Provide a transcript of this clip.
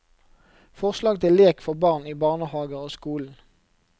Forslag til lek for barn i barnehager og skolen.